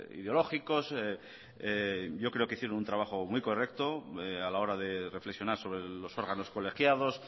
ideológicos yo creo que hicieron un trabajo muy correcto a la hora de reflexionar sobre los órganos colegiados